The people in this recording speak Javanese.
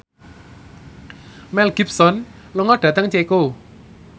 Mel Gibson lunga dhateng Ceko